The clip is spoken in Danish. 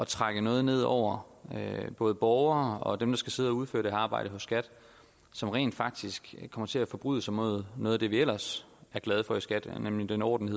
trække noget ned over både borgere og dem der skal sidde og udføre det arbejde hos skat som rent faktisk kommer til at forbryde sig mod noget af det vi ellers er glade for i skat nemlig den orden